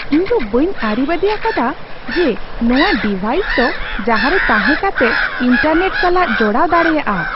ᱤᱧᱫᱚ ᱵᱟᱹᱧ ᱟᱹᱨᱤᱵᱟᱺᱫᱤ ᱟᱠᱟᱫᱟ ᱡᱮ ᱱᱚᱶᱟ ᱰᱤᱵᱷᱟᱭᱤᱥ ᱫᱚ ᱡᱟᱦᱟᱸᱨᱮ ᱛᱟᱦᱮᱸ ᱠᱟᱛᱮ ᱤᱱᱴᱟᱨᱱᱮᱴ ᱥᱟᱞᱟᱜ ᱡᱚᱲᱟᱣ ᱫᱟᱲᱮᱭᱟᱜᱼᱟ ᱾